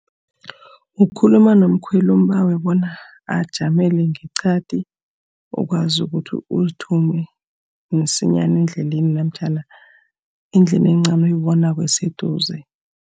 Ukhuluma nomkhweli umbawe bona ajamele ngeqadi, ukwazi ukuthi uzithume msinyana endleleni namtjhana endlini encani oyibonako eseduze.